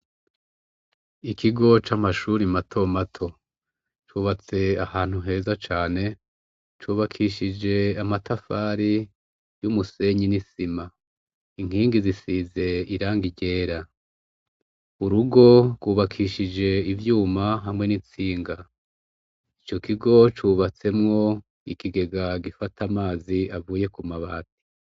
Ikigo c'amashuri mato mato cubatse ahantu heza cane cubakishije amatafari y'umusenyi n'isima inkingi zisize iranga iryera urugo rwubakishije ivyuma hamwe n'itsinga icoko wocubatsemwo ikigega gifata amazi avuye ku mabahe ati.